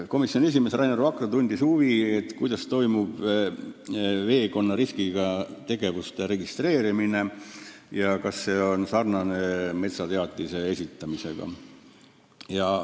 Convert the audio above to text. Komisjoni esimees Rainer Vakra tundis huvi, kuidas toimub vesikonda võib-olla ohustavate tegevuste registreerimine, kas see sarnaneb metsateatise esitamisega.